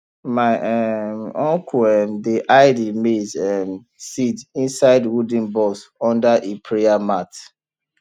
my um uncle um dey hide e maize um seed inside wooden box under e prayer mat